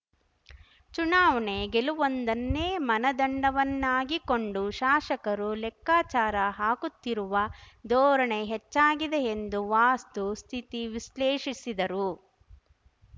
ಚುನಾವಣೆ ಗೆಲ್ಲುವುದೊಂದನ್ನೇ ಮನದಂಡವನ್ನಾಗಿಕೊಂಡು ಶಾಸಕರು ಲೆಕ್ಕಾಚಾರ ಹಾಕುತ್ತಿರುವ ಧೋರಣೆ ಹೆಚ್ಚಾಗಿದೆ ಎಂದು ವಾಸ್ತುಸ್ಥಿತಿ ವಿಶ್ಲೇಷಿಸಿದರು